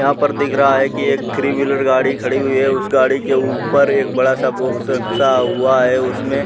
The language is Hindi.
यहाँ पर दिख रहा है कि एक थ्री व्हीलर गाड़ी खड़ी हुई है उस गाड़ी के ऊपर एक बड़ा सा बॉक्स रखा हुआ है उसमें --